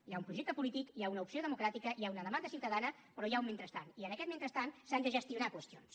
hi ha un projecte polític hi ha una opció democràtica hi ha una demanda ciutadana però hi ha un mentrestant i en aquest mentrestant s’han de gestionar qüestions